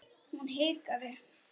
Hún hikaði.